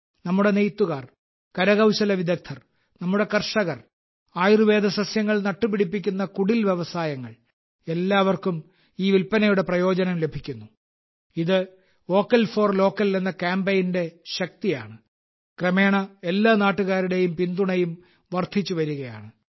നമ്മുടെ നെയ്ത്തുകാർ കരകൌശല വിദഗ്ധർ നമ്മുടെ കർഷകർ ആയുർവേദ സസ്യങ്ങൾ നട്ടുപിടിപ്പിക്കുന്ന കുടിൽ വ്യവസായങ്ങൾ എല്ലാവർക്കും ഈ വിൽപ്പനയുടെ പ്രയോജനം ലഭിക്കുന്നു ഇത് വോക്കൽ ഫോർ ലോക്കൽ എന്ന കാമ്പയിന്റെ ശക്തിയാണ് ക്രമേണ എല്ലാ നാട്ടുകാരുടെയും പിന്തുണയും വർധിച്ചു വരുകയാണ്